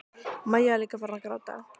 Maja er líka farin að gráta.